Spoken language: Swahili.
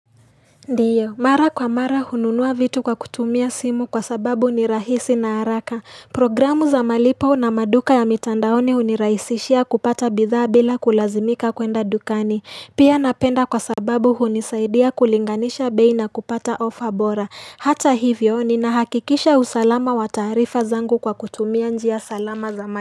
Ndiyo mara kwa mara hununua vitu kwa kutumia simu kwa sababu ni rahisi na haraka programu za malipo na maduka ya mitandaoni hunirahisishia kupata bidhaa bila kulazimika kwenda dukani pia napenda kwa sababu hunisaidia kulinganisha bei na kupata offer bora hata hivyo ninahakikisha usalama wa taarifa zangu kwa kutumia njia salama za ma.